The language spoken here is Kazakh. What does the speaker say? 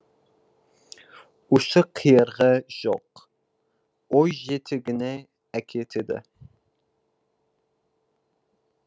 ұшы қиырғы жоқ ой жетегіне әкетеді